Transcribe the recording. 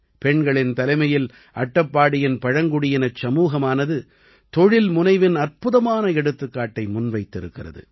பெண்களின் தலைமையில் அட்டப்பாடியின் பழங்குடியினச் சமூகமானது தொழில்முனைவின் அற்புதமான எடுத்துக்காட்டை முன்வைத்திருக்கிறது